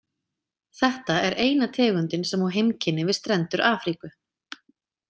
Þetta er eina tegundin sem á heimkynni við strendur Afríku.